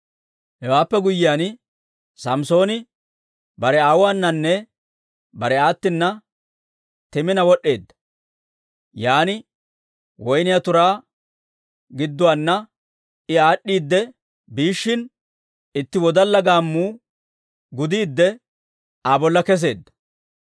Hewaappe guyyiyaan, Samssooni bare aawuwaananne bare aattina Timina wod'd'eedda. Yan woyniyaa turaa gidduwaanna I aad'd'iidde biishshin, itti wodalla gaammuu gudiidde Aa bolla kesseedda.